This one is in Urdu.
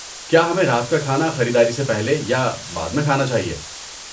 کیا ہمیں رات کا کھانا خریداری سے پہلے یا بعد میں کھانا چاہیے؟